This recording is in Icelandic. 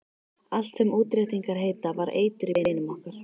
Allt sem útréttingar heita var eitur í beinum okkar.